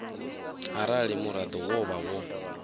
arali muraḓo wo vha wo